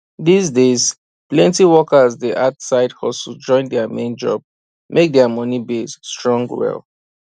these days plenty workers dey add side hustle join their main job make their money base strong well